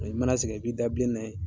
I mana sɛgɛn, i b'i da bin na yen.